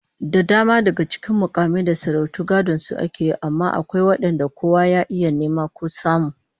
Da dama daga cikin mukamai da sarautu gadon su ake yi, amma akwai wadanda kowa ya iya nema ko samu